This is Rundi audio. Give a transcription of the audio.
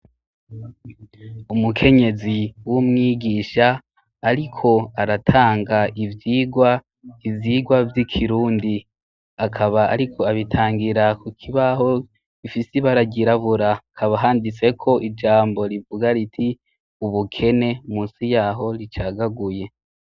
Umukenyezi w'umwigisha, ariko aratanga ivyirwa ivyirwa vy'ikirundi akaba, ariko abitangira ku kibaho ifi sibaragirabura kabahanditseko ijambo rivuga riti ubukene musi yaho ricagaguye.